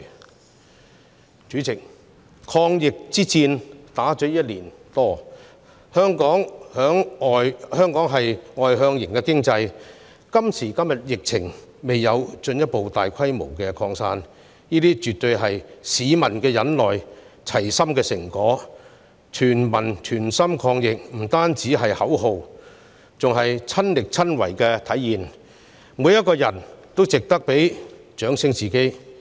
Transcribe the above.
代理主席，抗疫之戰已進行了一年多，香港是外向型經濟，但今時今日疫情未有進一步大規模擴散，絕對是市民齊心忍耐的成果："全民全心抗疫"不單是口號，更是親力親為的體現，每個人也值得為自己鼓掌。